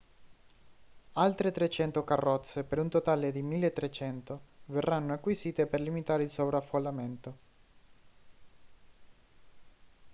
altre 300 carrozze per un totale 1.300 verranno acquisite per limitare il sovraffollamento